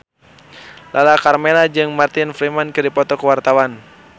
Lala Karmela jeung Martin Freeman keur dipoto ku wartawan